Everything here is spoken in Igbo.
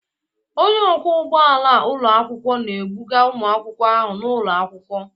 Onye ọkwọ ụgbọ ala ụlọ akwụkwọ na-ebuga ụmụ akwụkwọ ahụ n'ụlọ akwụkwọ.